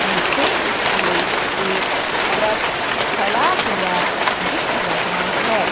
मुझे इसमें एक ट्रक खड़ा हुआ दिख रहा है।